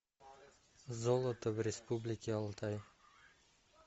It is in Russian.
золото в республике алтай